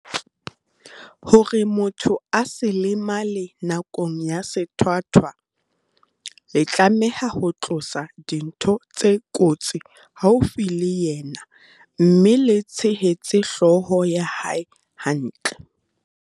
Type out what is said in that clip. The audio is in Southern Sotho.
"Hore motho a se lemale nakong ya sethwathwa, le tlameha ho tlosa dintho tse kotsi haufi le yena mme le tshehetse hlooho ya hae hantle."